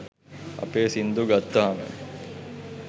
අපේ සින්දු ගත්තහම